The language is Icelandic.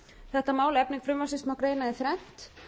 þetta mál efni frumvarpsins má greina í þrennt